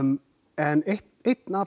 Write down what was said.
en einn af